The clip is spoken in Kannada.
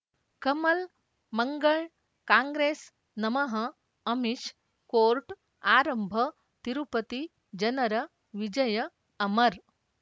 ಕಮಲ್ ಮಂಗಳ್ ಕಾಂಗ್ರೆಸ್ ನಮಃ ಅಮಿಷ್ ಕೋರ್ಟ್ ಆರಂಭ ತಿರುಪತಿ ಜನರ ವಿಜಯ ಅಮರ್